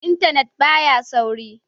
Intanet ba ya sauri.